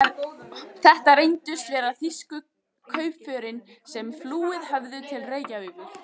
Þetta reyndust vera þýsku kaupförin, sem flúið höfðu til Reykjavíkur.